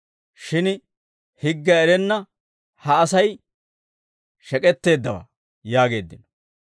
Shin higgiyaa erenna ha Asay shek'etteeddawaa» yaageeddino.